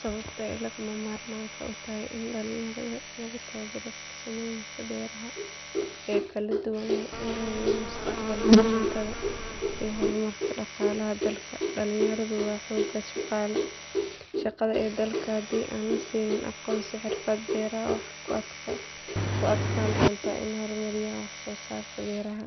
Sababta ay lagama maarmaanka u tahay in dhalinyarada lagu tababaro farsamooyinka beeraha ee kala duwan waa in la hubiyo mustaqbalka cuntada iyo horumarka dhaqaalaha dalka. Dhalinyaradu waa xoogga shaqada ee dalka, haddii aan la siin aqoon iyo xirfad beeraha waxay ku adkaan doontaa inay horumariyaan wax soo saarka beeraha.